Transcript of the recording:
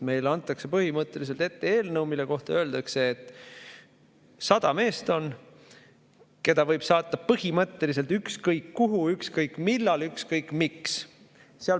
Meile antakse põhimõtteliselt ette eelnõu, mille kohta öeldakse, et on 100 meest ja neid võib saata ükskõik kuhu, ükskõik millal ja ükskõik miks.